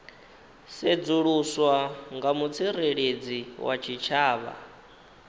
sedzuluswa nga mutsireledzi wa tshitshavha